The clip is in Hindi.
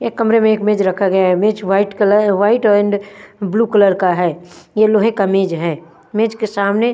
एक कमरे में एक मेज रखा गया है मेज white colour white and blue colour है यह लोहे का मेज है मेज के सामने--